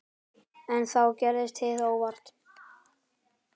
En þá gerðist hið óvænta.